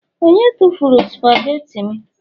onye tufuru spageti m